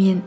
мен